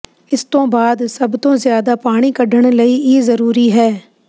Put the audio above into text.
ਇਸ ਤੋਂ ਬਾਅਦ ਸਭ ਤੋਂ ਜ਼ਿਆਦਾ ਪਾਣੀ ਕੱਢਣ ਲਈ ਇਹ ਜ਼ਰੂਰੀ ਹੈ